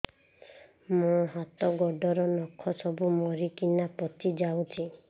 ମୋ ହାତ ଗୋଡର ନଖ ସବୁ ମରିକିନା ପଚି ଯାଉଛି